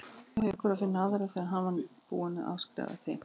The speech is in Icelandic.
Sá hefur verið snöggur að finna aðra þegar hann var búinn að afskrifa þig.